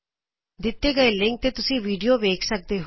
ਦਿਤੇ ਹੋਏ ਲਿੰਕ ਤੇ ਤੁਸੀ ਵੀਡਿਓ ਵੇਖ ਸਕਦੇ ਹੋ